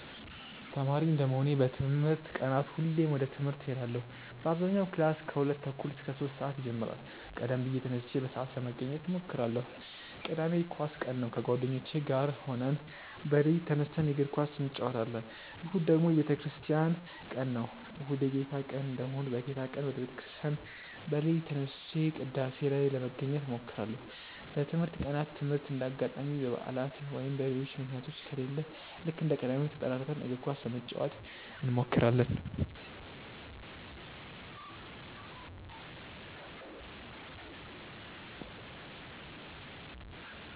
ተማሪ እንደመሆኔ በትምህርት ቀናት ሁሌም ወደ ትምህርት እሄዳለው በአብዛኛው ክላስ ከሁለት ተኩል እስከ ሶስት ሰአት ይጀምራል ቀደም ብዬ ተነስቼ በሰአት ለመገኘት እሞክራለው። ቅዳሜ የኳስ ቀን ነው ከጓደኞቼ ጋር ሆነን በሌሊት ተነስተን የእግር ኳስ እንጨወታለን። እሁድ ደግሞ የቤተክርስቲያን ቀን ነው። እሁድ የጌታ ቀን እንደመሆኑ በጌታ ቀን ወደ ቤተ ክርስቲያን በሌሊት ተነስቼ ቅዳሴ ላይ ለመገኘት እሞክራለው። በትምህርት ቀናት ትምህርት እንደ አጋጣሚ በባዕላት ወይም በሌሎች ምክንያቶች ከሌለ ልክ እንደ ቅዳሜው ተጠራርተን እግር ኳስ ለመጫወት እንሞክራለው።